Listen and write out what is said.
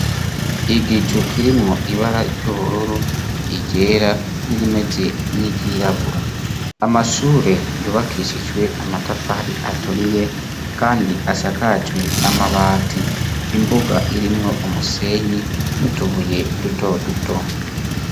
Igicu kirimwo ibara ry'ubururu, iryera n'irimeze n'iryirabura. Amashure yubakishijwe amatafari aturiye kandi asakajwe amabati. Imbuga irimwo umusenyi n'utubuye dutoduto.